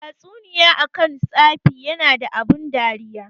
Tatsuniya akan tsafi yana da abun dariya.